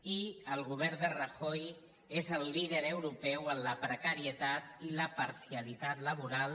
i el govern de rajoy és el líder europeu en la precarie tat i la parcialitat laboral